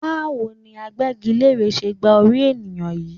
Báwo ni agbẹ́gilére ṣe gba orí ènìyàn yìí?